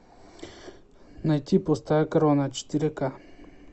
найти пустая корона четыре ка